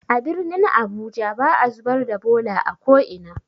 A birnin abuja ba'a zubar da bola a ko'ina.